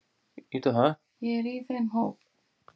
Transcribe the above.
Ég er í þeim hóp.